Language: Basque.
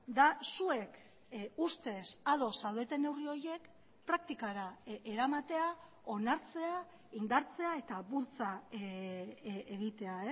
da zuek ustez ados zaudeten neurri horiek praktikara eramatea onartzea indartzea eta bultza egitea